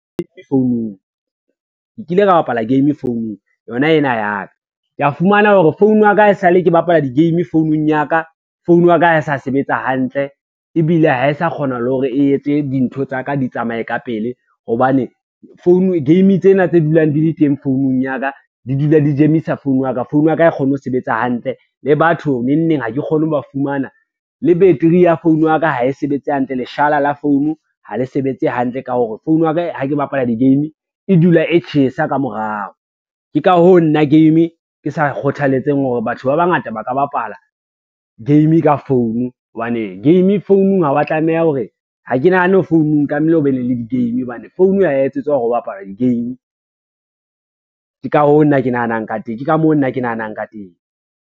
Ke kile ka bapala game founung yona ena ya ka, ke a fumana hore phone ya ka e sa le ke bapala dihgame founung ya ka, phone ya ka ha e sa sebetsa hantle ebile ha e sa kgona le hore e etse dintho tsa ka di tsamaye ka pele hobane, game tsena tse dulang di le teng founung ya ka di dula dijemisa phone ya ka. Phone ya ka hae kgone ho sebetsa hantle le batho nengneng ha ke kgone ho ba fumana le beteri ya phone ya ka ha e sebetse hantle, leshala la phone ha le sebetse hantle ka hore phone ya ka ha ke bapala di-game e dula e tjhesa ka morao. Ke ka hoo nna game ke sa kgothaletsang hore batho ba bangata ba ka bapala game ka phone hobane, game founung ha ke nahane founung tlamehile o be ne le di-game hobane phone ho etsetswa hore ho bapala di-game. Ke ka moo nna ke nahanang ka teng.